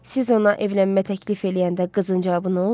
Siz ona evlənmə təklif eləyəndə qızın cavabı nə oldu?